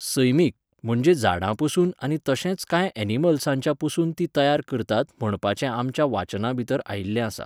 सैमीक, म्हणजे झाडां पसून आनी तशेंच कांय एनिमल्साच्या पसून ती तयार करतात म्हणपाचे आमच्या वाचनां भितर आयिल्लें आसा